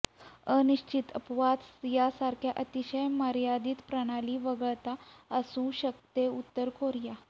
अनिश्चित अपवाद सारख्या अतिशय मर्यादित प्रणाली वगळता असू शकते उत्तर कोरिया